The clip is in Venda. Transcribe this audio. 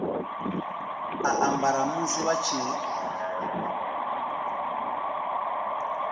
a ambara musi vha tshi